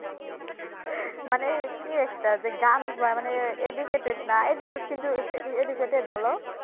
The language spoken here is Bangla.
কে একটা যে গান মানে Educated না Educated কিন্তু Educated বোলো